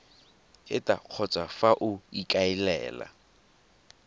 eta kgotsa fa o ikaelela